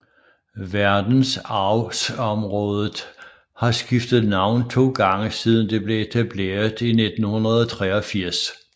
Verdensarvsområdet har skiftet navn to gange siden det blev etableret i 1983